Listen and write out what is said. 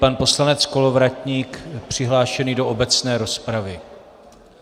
Pan poslanec Kolovratník přihlášený do obecné rozpravy.